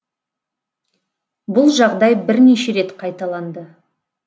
бұл жағдай бірнеше рет қайталанды